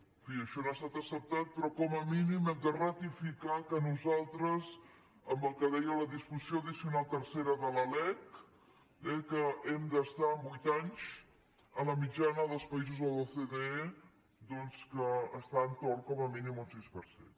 en fi això no ha estat acceptat però com a mínim hem de ratificar que nosaltres amb el que deia la disposició addicional tercera de la lec que hem d’estar en vuit anys a la mitjana dels països de l’ocde doncs que està a l’en·torn com a mínim d’un sis per cent